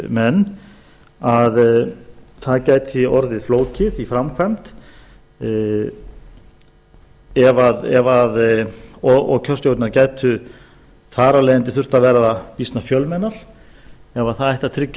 menn að það gæti orðið flókið í framkvæmd og kjörstjórnirnar gætu þar af leiðandi þurft að vera býsna fjölmennar ef það ætti að tryggja